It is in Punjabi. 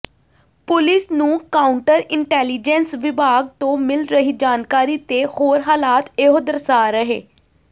ਪੁਲਿਸ ਨੂੰ ਕਾਊਂਟਰ ਇੰਟੈਲੀਜੈਂਸ ਵਿਭਾਗ ਤੋਂ ਮਿਲ ਰਹੀ ਜਾਣਕਾਰੀ ਤੇ ਹੋਰ ਹਾਲਾਤ ਇਹੋ ਦਰਸਾ ਰਹੇ